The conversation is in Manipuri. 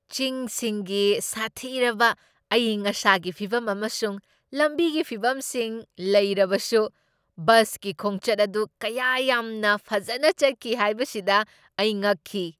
ꯆꯤꯡꯁꯤꯡꯒꯤ ꯁꯥꯊꯤꯔꯕ ꯑꯏꯪ ꯑꯁꯥꯒꯤ ꯐꯤꯚꯝ ꯑꯃꯁꯨꯡ ꯂꯝꯕꯤꯒꯤ ꯐꯤꯚꯝꯁꯤꯡ ꯂꯩꯔꯕꯁꯨ, ꯕꯁꯀꯤ ꯈꯣꯡꯆꯠ ꯑꯗꯨ ꯀꯌꯥ ꯌꯥꯝꯅ ꯐꯖꯅ ꯆꯠꯈꯤ ꯍꯥꯏꯕꯁꯤꯗ ꯑꯩ ꯉꯛꯈꯤ ꯫